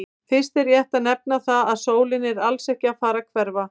Fyrst er rétt að nefna það að sólin er alls ekki að fara að hverfa!